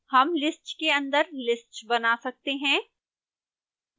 हम list के अंदर list बना सकते हैं